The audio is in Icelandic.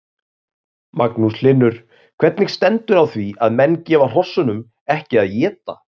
Magnús Hlynur: Hvernig stendur á því að menn gefa hrossunum ekki að éta?